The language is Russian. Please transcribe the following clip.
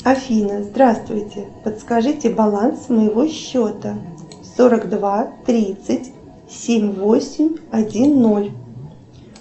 афина здравствуйте подскажите баланс моего счета сорок два тридцать семь восемь один ноль